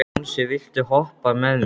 Jónsi, viltu hoppa með mér?